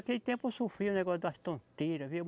Naquele tempo eu sofria um negócio das tonteiras, viu?